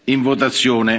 in votazione.